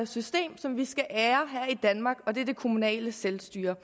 system som vi skal ære her i danmark og det er det kommunale selvstyre